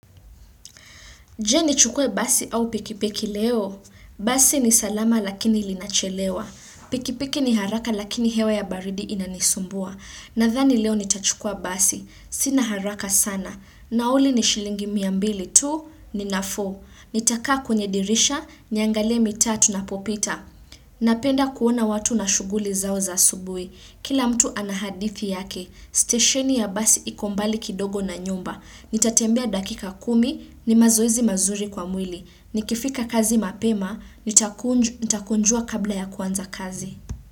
Je ni chukue basi au pikipiki leo? Basi ni salama lakini linachelewa. Pikipiki ni haraka lakini hewa ya baridi inanisumbua. Nadhani leo nitachukua basi. Sina haraka sana. Nauli ni shilingi mia mbili tu, ni nafuu. Nitakaa kwenye dirisha, niangalie mitaa tunapopita. Napenda kuona watu na shughuli zao za asubuhi. Kila mtu ana hadithi yake, stesheni ya basi iko mbali kidogo na nyumba. Nitatembea dakika kumi, ni mazoezi mazuri kwa mwili. Nikifika kazi mapema, nitakunjua kabla ya kuanza kazi.